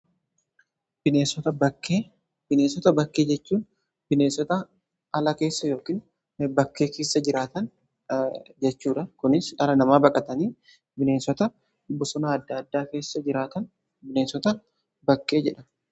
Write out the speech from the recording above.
bineensota bakkee jechuun bineessota ala keessa yookiin bakkee keessa jiraatan jechuudha. kunis dhala namaa baqatanii bineensota bosona adda addaa keessa jiraatan bineensota bakkee jedhamu.